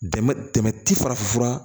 Dɛmɛbɛ ti farafin fura